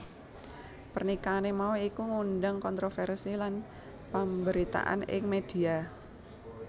Pernikahané mau iku nggundang kontroversi lan pamberitaan ning media